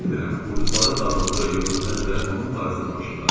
Bilmirəm, qurduqları dağıldı, yoxsa hələ də onun barəsində danışırlar.